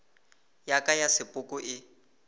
ya ka ya sepoko e